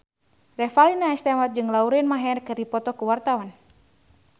Revalina S. Temat jeung Lauren Maher keur dipoto ku wartawan